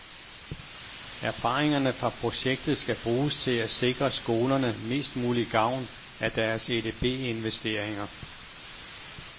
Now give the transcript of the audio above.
Erfaringerne fra projektet skal bruges til at sikre skolerne mest mulig gavn af deres edbinvesteringer.